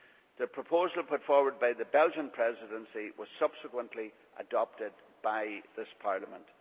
The proposal put forward by the Belgian Presidency was subsequently adopted by this Parliament.